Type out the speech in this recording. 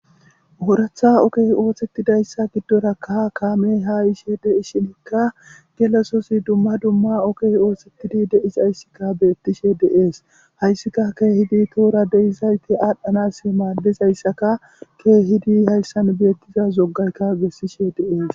Horatha oke oothetidayssa giddorakka kaamey ha ishe de i shinikka gelasosi dumma dumma okey ooththetidi deisayssikka beettishe deees hayssika keehidi tuura deisayti aadhdhanas maallizayssaka keehidi hayssan beettiza zoggaykka bessishe deees.